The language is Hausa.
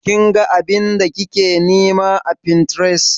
Kin ga abin da kike nima a Pinterest?